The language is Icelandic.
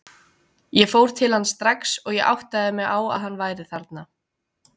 Ég fór til hans strax og ég áttaði mig á að hann væri þarna.